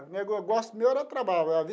Negócio meu era trabalhar.